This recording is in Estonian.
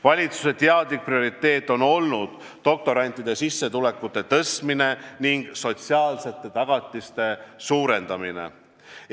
Valitsuse teadlik prioriteet on olnud doktorantide sissetulekute tõstmine ning nende sotsiaalsete tagatiste suurendamine.